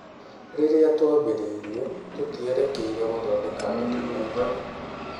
"Rĩrĩa twambĩrĩirie, tũtierekeire gũthondeka documentary."